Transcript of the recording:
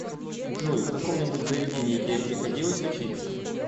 джой в каком нибудь заведении тебе приходилось учиться